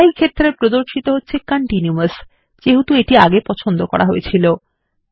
style ক্ষেত্রে প্রদর্শিত হচ্ছে কন্টিনিউয়াস যেহেতু এটি পছন্দ ছিল